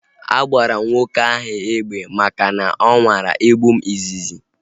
A gbara m nwoke ahu egbe maka na ọ nwara igbu m izizi